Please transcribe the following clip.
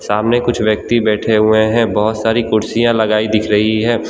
आमने कुछ व्यक्ति बैठे हुए हैं बहोत सारी कुर्सियाँ लगाई दिख रहीं हैं।